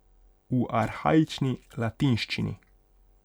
V arhaični latinščini.